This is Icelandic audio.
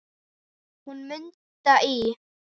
Hún Munda í